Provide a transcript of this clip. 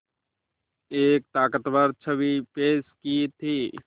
एक ताक़तवर छवि पेश की थी